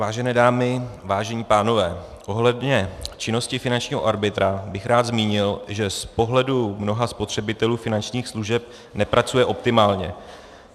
Vážené dámy, vážení pánové, ohledně činnosti finančního arbitra bych rád zmínil, že z pohledu mnoha spotřebitelů finančních služeb nepracuje optimálně.